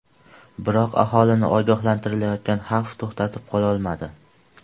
Biroq aholini ogohlantirilayotgan xavf to‘xtatib qololmadi.